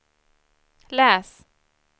läs